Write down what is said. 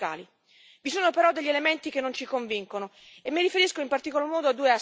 Vi sono però degli elementi che non ci convincono e mi riferisco, in particolar modo, a due aspetti.